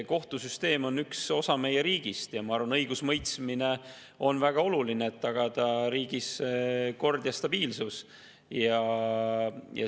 Kohtusüsteem on üks osa meie riigist ja ma arvan, et õigusemõistmine on väga oluline, et tagada riigis kord ja stabiilsus.